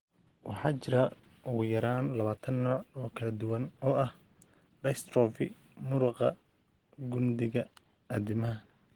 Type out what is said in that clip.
Waxaa jira ugu yaraan 20 nooc oo kala duwan oo ah dystrophy muruqa gundhiga addimada.